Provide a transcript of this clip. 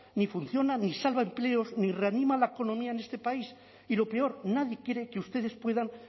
ni funciona ni salva empleos ni reanima economía en este país y lo peor nadie cree que ustedes puedan